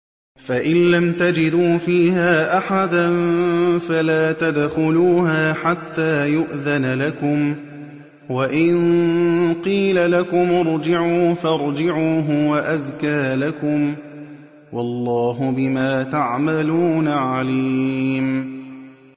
فَإِن لَّمْ تَجِدُوا فِيهَا أَحَدًا فَلَا تَدْخُلُوهَا حَتَّىٰ يُؤْذَنَ لَكُمْ ۖ وَإِن قِيلَ لَكُمُ ارْجِعُوا فَارْجِعُوا ۖ هُوَ أَزْكَىٰ لَكُمْ ۚ وَاللَّهُ بِمَا تَعْمَلُونَ عَلِيمٌ